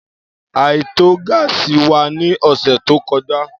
Aito gáásì wa ni ọsẹ to kọja.